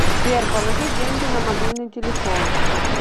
сбер положи деньги на мобильный телефон